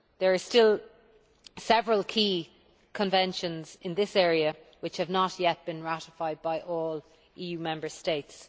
There are still several key conventions in this area which have not yet been ratified by all EU Member States.